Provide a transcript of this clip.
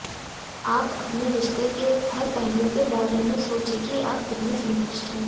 आप अपने रिश्ते के हर पहलू के बारे में सोचें कि आप कितने संतुष्ट हैं